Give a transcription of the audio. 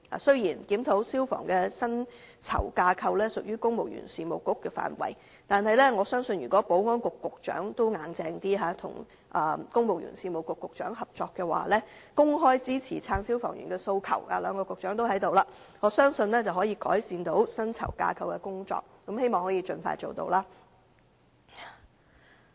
雖然消防員薪酬架構的檢討屬公務員事務局的範疇，但我相信，保安局局長如能採取堅定的態度，與公務員事務局局長商討及合作，公開支持消防員的訴求——兩位局長均在席——我相信可以改善薪酬架構，希望這工作可以盡快做到。